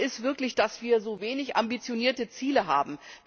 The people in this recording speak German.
Schade ist wirklich, dass wir so wenig ambitionierte Ziele haben.